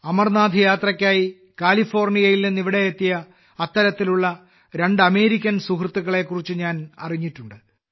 അമർനാഥ് യാത്രയ്ക്കായി കാലിഫോർണിയയിൽ നിന്ന് ഇവിടെയെത്തിയ അത്തരത്തിലുള്ള രണ്ട് അമേരിക്കൻ സുഹൃത്തുക്കളെകുറിച്ച് ഞാൻ അറിഞ്ഞിട്ടുണ്ട്